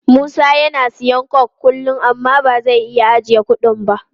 Musa yana siyan coke kullum amma ba zai iya ajiye kudi ba.